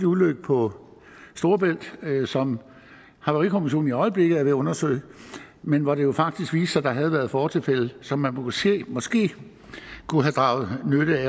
ulykke på storebælt som havarikommissionen i øjeblikket er ved at undersøge men hvor det jo faktisk viste sig at der havde været fortilfælde som man måske måske kunne have draget